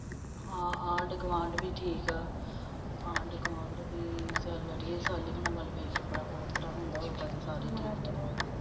ਹਮ ਆਂਢ ਗੁਆਂਢ ਵੀ ਠੀਕੇ ਆਂਢ ਗੁਆਂਢ ਵੀ ਸ਼ਾਲੀ ਹੁਨਾ ਵੱਲ ਦੇਖ ਕੇ ਹੋਰ ਤਰਾਂ ਹੁੰਦਾ ਉਦਾ ਤਾ ਚੱਲ ਹਮ